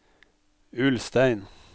Ulstein